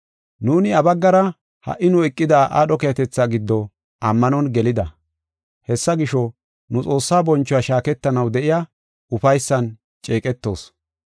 Nuuni iya baggara ha77i nu eqida aadho keehatetha giddo ammanon gelida. Hessa gisho, nu Xoossaa bonchuwa shaaketanaw de7iya ufaysan ceeqetoos.